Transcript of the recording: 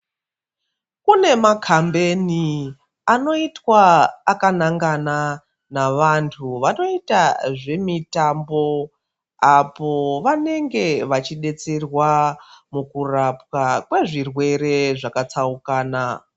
Kune makambeni anoitwa akanangana navantu vanoita zvemitambo apo vanenge vachidetserwa mukurapwa kwezvirwere zvakatsukana.